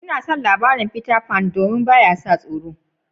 Na so labarin Peter Pan sosai. Bai sa mutum soro ba.